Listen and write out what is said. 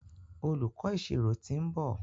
Olùkó ìṣirò t'in nbọ.